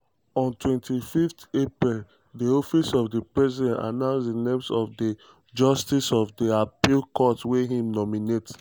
on 25 april di office of di president announce di names of di justices of di appeals court wia im nominate.